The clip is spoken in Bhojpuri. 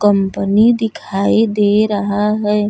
कंपनी दिखाई दे रहा हैं।